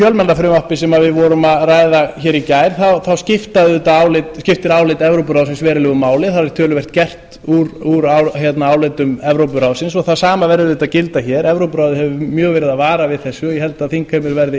fjölmiðlafrumvarpi sem við vorum að ræða hér í gær þá skiptir álit evrópuráðsins verulegu máli það er töluvert gert úr álitum evrópuráðsins og það sama verður auðvitað að gilda hér evrópuráðið hefur mjög verið að vara við þessu ég held að þingheimur verði